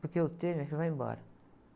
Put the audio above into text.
Porque o ter, minha filha, vai embora.